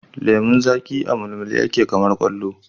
Lemun zaƙi a mulmule yake kamar kwallo